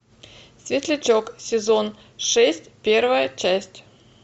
светлячок сезон шесть первая часть